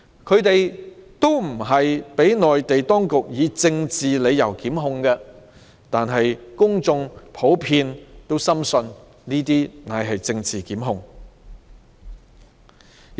他們不是被內地當局以政治理由檢控，但公眾普遍深信，這些都是政治檢控。